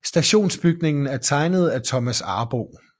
Stationsbygningen er tegnet af Thomas Arboe